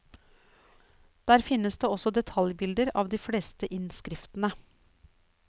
Der finnes det også detaljbilder av de fleste innskriftene.